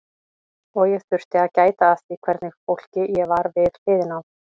Og ég þurfti að gæta að því hvernig fólki ég var við hliðina á.